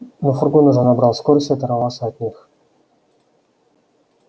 но фургон уже набрал скорость и оторвался от них